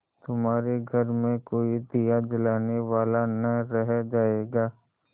तुम्हारे घर में कोई दिया जलाने वाला न रह जायगा